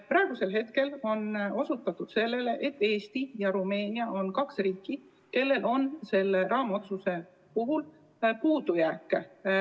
Praegu on osutatud sellele, et Eesti ja Rumeenia on kaks riiki, kellel esineb selle raamotsuse rakendamisel puudujääke.